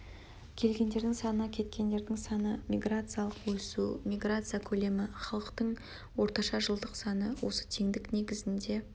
келгендердің саны кеткендердің саны миграциялық өсу миграция көлемі халықтың орташа жылдық саны осы теңдік негізінде